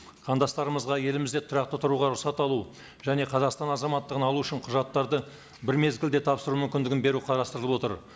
қандастарымызға елімізде тұрақты тұруға рұқсат алу және қазақстан азаматтығын алу үшін құжаттарды бір мезгілде тапсыру мүмкіндігін беру қарастырылып отыр